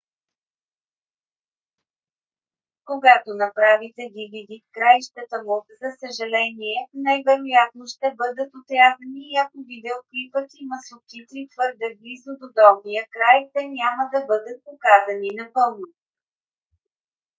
когато направите dvd краищата му за съжаление най-вероятно ще бъдат отрязани и ако видеоклипът има субтитри твърде близо до долния край те няма да бъдат показани напълно